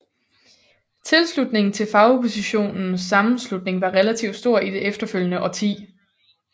Tilslutningen til Fagoppositionens Sammenslutning var relativt stor i det efterfølgende årti